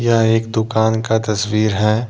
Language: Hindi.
यह एक दुकान का तस्वीर है।